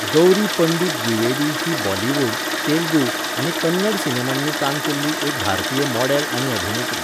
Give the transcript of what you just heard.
गौरी पंडित द्विवेदी ही बॉलिवूड, तेलुगू, आनी कन्नड सिनेमांनी काम केल्ली एक भारतीय मॉडॅल आनी अभिनेत्री.